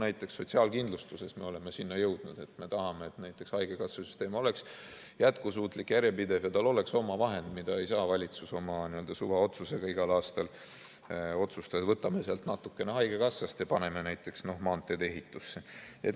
Näiteks sotsiaalkindlustuses me oleme sinna jõudnud, et me tahame, et näiteks haigekassasüsteem oleks jätkusuutlik, järjepidev ja tal oleks oma vahendid, mille puhul ei saa valitsus oma n-ö suvaotsusega igal aastal otsustada, et võtame natukene haigekassast ja paneme maanteede ehitusse.